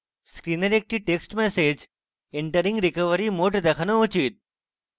screen একটি text message entering recovery mode দেখানো উচিত